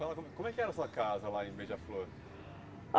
Fala, como como é que era a sua casa lá em Beija-Flor?